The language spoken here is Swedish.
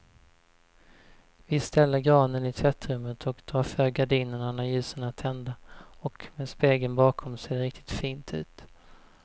Vi ställer granen i tvättrummet och drar för gardinerna när ljusen är tända, och med spegeln bakom ser det riktigt fint ut.